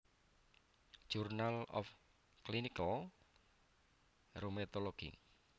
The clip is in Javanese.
Journal of Clinical Rheumatology